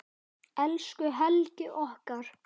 Elsku Helgi okkar.